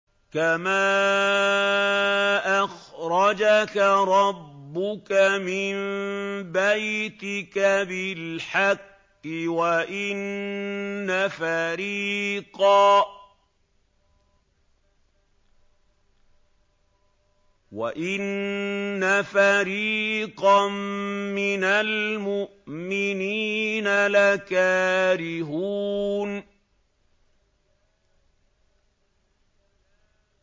كَمَا أَخْرَجَكَ رَبُّكَ مِن بَيْتِكَ بِالْحَقِّ وَإِنَّ فَرِيقًا مِّنَ الْمُؤْمِنِينَ لَكَارِهُونَ